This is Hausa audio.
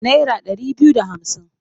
Naira ɗari biyu da hamsin?